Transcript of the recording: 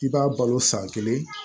I b'a balo san kelen